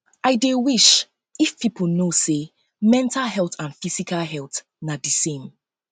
i dey wish if dey wish if people know say mental health and physical health na di same